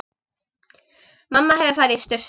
Mamma hefur farið í sturtu.